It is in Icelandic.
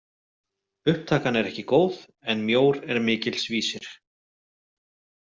Upptakan er ekki góð en mjór er mikils vísir!